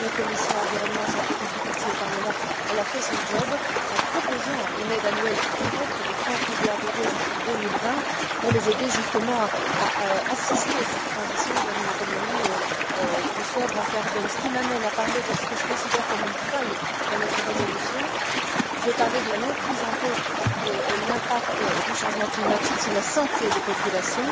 À cet égard, notre commission environnement et santé publique du Parlement a fait son travail, en proposant une aide annuelle directe de 30 milliards d'euros jusqu'en 2020 pour aider ces pays dans la transition vers une économie plus sobre en carbone. Ceci m'amène à aborder ce que je considère comme une faille dans notre résolution, je veux parler de la non prise en compte de l'impact du changement climatique sur la santé des populations.